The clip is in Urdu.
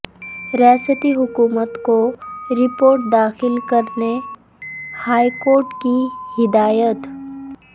ریاستی حکومت کو رپورٹ داخل کرنے ہائیکورٹ کی ہدایت